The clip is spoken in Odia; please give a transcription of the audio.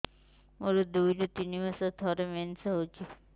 ମୋର ଦୁଇରୁ ତିନି ମାସରେ ଥରେ ମେନ୍ସ ହଉଚି